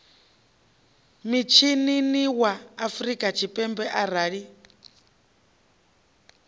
mishinini wa afrika tshipembe arali